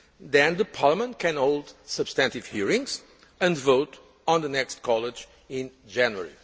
Then Parliament can hold substantive hearings and vote on the next college in January.